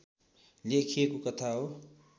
लेखिएको कथा हो